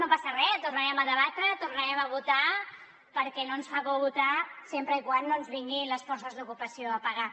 no passa res tornarem a debatre tornarem a votar perquè no ens fa por votar sempre que no ens vinguin les forces d’ocupació a pegar